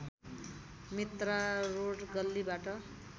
Mitra road गल्लीबाट